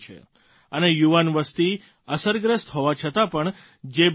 અને યુવાન વસતિ અસરગ્રસ્ત હોવા છતાં પણ જે બિમારી છે